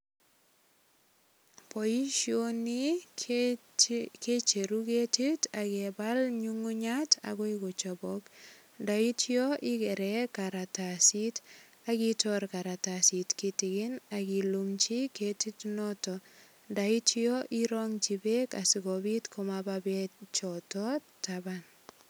Boisioni kecheru ketit ak kebal nyungunyat agoi kochobok. Ndaitya igere karatasit ak itor karatasit kitigin ak ilumchi ketit noto ndoityo irongchi beek asigopit komaba beek choto taban.